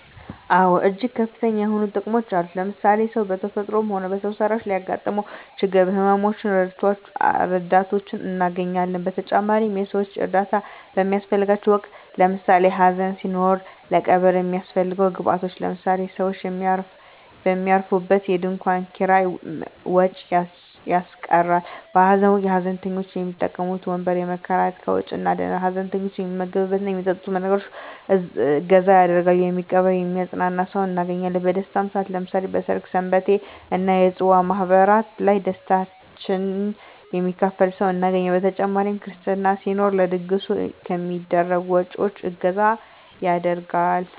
አወ እጅግ ከፍተኛ የሆኑ ጥቅሞች አሉት ለምሳሌ ሰው በተፈጥሮም ሆነ በሰው ሰራሽ ለሚያገጥመው ችግሮች ህመመ ሞች ረዳቶችን እናገኛለን በተጨማሪም የሰወች እርዳታ በሚያሰፈልገን ወቅት ለምሳሌ ሀዘን ሲኖር ለቀብር የሚያሰፈልጉ ግብአቶች ለምሳሌ ሰውች የሚያርፉበት የድንኮን ኪራይ ወጭ ያስቀራል በሀዘን ወቅት ሀዘንተኞች የሚቀመጡበት ወንበር ከመከራየት ከወጭ እንድናለን ሀዘንተኞች የሚመገብት እና የሚጠጡትን ነገሮች እገዛ ያደርጋሉ የሚቀብር የሚያጵናና ሰውን እናገኛለን በደስታም ሰአት ለምሳሌ በሰርግ ሰንበቴ እና የፅዋ ማህበራት ላይ ደስታችን የሚካፈል ሰው እናገኛለን በተጨማሪ ክርስትና ሲኖር ለድግሱ ከሚደረጉ ወጭወች እገዛ ይደረጋል።